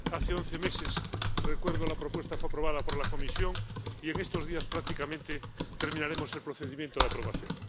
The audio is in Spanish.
Hace once meses —recuerdo— la propuesta fue aprobada por la Comisión y en estos días prácticamente terminaremos el procedimiento de aprobación.